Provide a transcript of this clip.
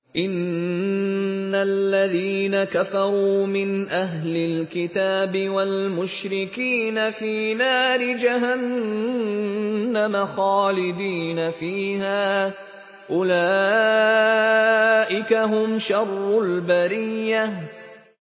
إِنَّ الَّذِينَ كَفَرُوا مِنْ أَهْلِ الْكِتَابِ وَالْمُشْرِكِينَ فِي نَارِ جَهَنَّمَ خَالِدِينَ فِيهَا ۚ أُولَٰئِكَ هُمْ شَرُّ الْبَرِيَّةِ